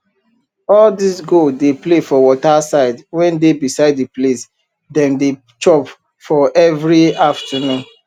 all dis goat dey play for waterside wey dey beside d place dem dey chop for everi afternoon